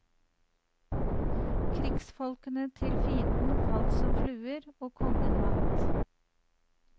Krigsfolkene til fienden falt som fluer, og kongen vant.